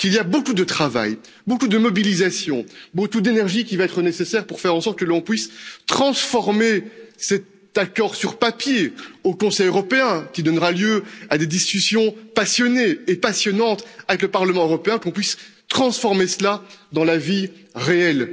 Beaucoup de travail, de mobilisation, d'énergie vont être nécessaires pour faire en sorte que l'on puisse transformer cet accord sur papier au Conseil européen, qui donnera lieu à des discussions passionnées et passionnantes avec le Parlement européen, qu'on puisse transformer cela dans la vie réelle.